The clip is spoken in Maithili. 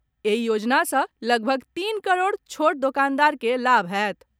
एहि योजना सॅ लगभग तीन करोड़ छोट दोकानदार के लाभ होयत।